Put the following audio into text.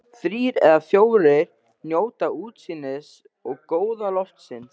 Þrír eða fjórir njóta útsýnisins og góða loftsins.